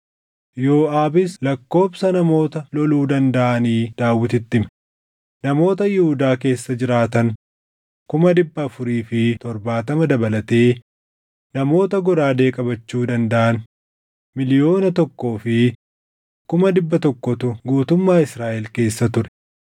Yooʼaabis lakkoobsa namoota loluu dandaʼanii Daawititti hime; namoota Yihuudaa keessa jiraatan kuma dhibba afurii fi torbaatama dabalatee namoota goraadee qabachuu dandaʼan miliyoona tokkoo fi kuma dhibba tokkootu guutummaa Israaʼel keessa ture.